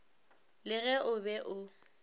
le ge o be o